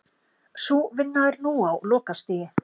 Sú vinna er nú á lokastigi